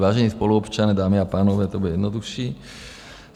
Vážení spoluobčané, dámy a pánové, to bude jednodušší.